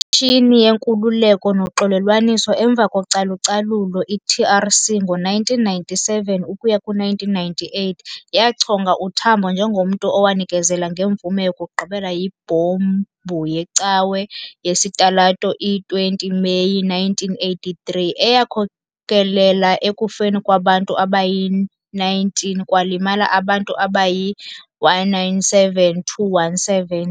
IKhomishini ye-Nkululeko noXolelwaniso emva kocalucalulo, i-TRC, ngo-1997 ukuya 1998 yachonga uTambo njengomntu owanikezela ngemvume yokugqibela yibhombu yecawe yesitalato i-20 Meyi 1983, eyakhokelela ekufeni kwabantu abayi-19 kwalimala abantu abayi-197-217.